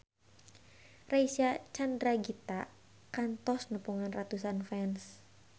Reysa Chandragitta kantos nepungan ratusan fans